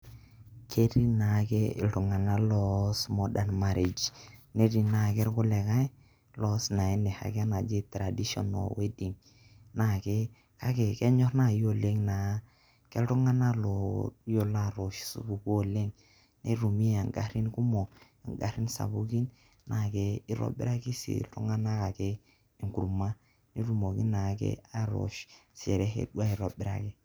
Ketii naake iltung'anak looas modern marriage netii naake irkulikae looas enoshake naji traditional wedding, naake kake kenyor nai oleng' naa keltung'anak looyilo atoosh supukuu oleng' nitumi ng'arin kumok, ng'arin sapukin naake itobiraki sii iltung'anak ake enkurma netumoki naa naake atosh sherehe aitobiraki.